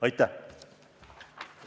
Aitäh!